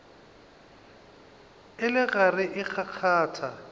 e le gare e kgakgatha